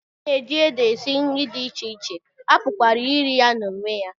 A na-eji ede esi nri dị iche iche, a pụkwara iri ya n'onwe ya.